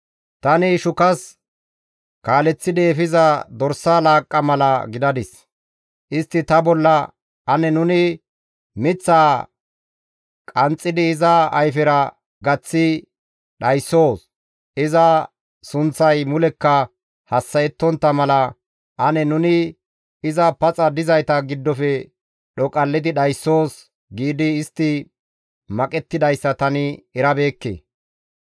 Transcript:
Tani shukas kaaleththidi efiza dorsa laaqqa mala gidadis. Istti ta bolla, «Ane nuni miththaa qanxxidi iza ayfezara gaththi dhayssoos. Iza sunththay mulekka hassa7ettontta mala, ane nuni iza paxa dizayta giddofe dhoqallidi dhayssoos» giidi istti maqettidayssa tani erabeekke.